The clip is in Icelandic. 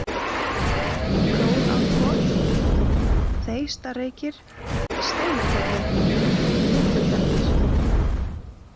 Fróðárkot, Þeistareykir, Steinagerði, Litlutjarnir